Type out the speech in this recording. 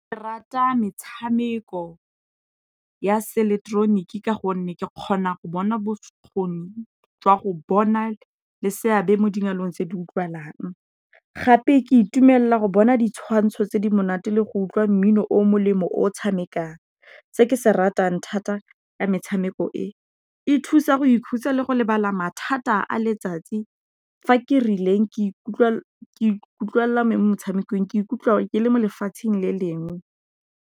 Ke rata metshameko ya seileketeroniki ka gonne ke kgona go bona bokgoni jwa go bona le seabe mo dialong tse di utlwalang, gape ke itumelela go bona ditshwantsho tse di monate le go utlwa mmino o molemo o tshamekang. Se ke se ratang thata ka metshameko e, e thusa go ikhutsa le go lebala mathata a letsatsi fa ke rileng ke ikutlwelela mo metshamekong, ke ikutlwa ke le mo lefatsheng le lengwe.